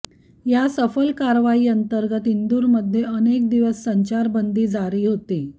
या सफल कारवाई अंतर्गत इंदूरमध्ये अनेक दिवस संचारबंदी जारी होती